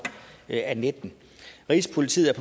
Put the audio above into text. af nitten rigspolitiet er